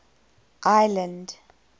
ireland